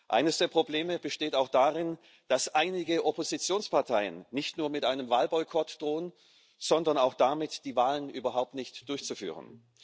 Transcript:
Eines der Probleme besteht auch darin, dass einige Oppositionsparteien nicht nur mit einem Wahlboykott drohen, sondern auch damit, die Wahlen überhaupt nicht durchzuführen.